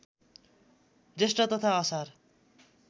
जेष्ठ तथा असार